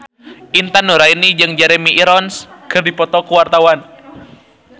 Intan Nuraini jeung Jeremy Irons keur dipoto ku wartawan